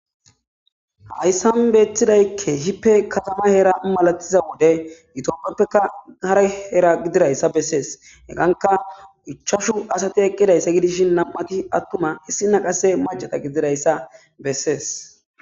Haayssan beettidaykke hippe katama hera malatiza wode yitoppieppeka hara hera gidirayssa bessees heganka uchashu asati eqqidayssa gidishin nam'ati attuma hissinaqase macata gidirayssa bessees.